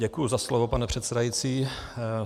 Děkuji za slovo, pane předsedající.